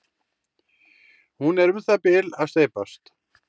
hún er um það bil að steypast